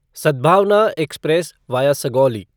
Sadbhavna express via Sugauli